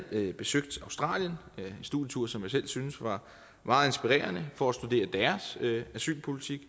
andet besøgt australien en studietur som jeg selv syntes var meget inspirerende for at studere deres asylpolitik